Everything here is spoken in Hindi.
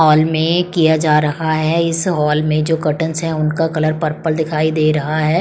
हॉल में किया जा रहा है इस हॉल में जो कर्टेन्स हैं उनका कलर पर्पल दिखाई दे रहा है।